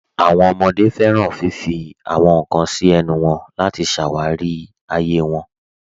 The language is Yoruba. Àwọn ọmọde fẹ́ràn fífì àwọn nkan sí ẹ̀nù wọn láti ṣáwárí ayé wọn.